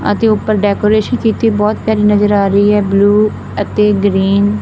ਅਤੇ ਉਪਰ ਡੈਕੋਰੇਸ਼ਨ ਕੀਤੀ ਬਹੁਤ ਪਿਆਰੀ ਨਜ਼ਰ ਆ ਰਹੀ ਹੈ। ਬਲੂ ਅਤੇ ਗਰੀਨ --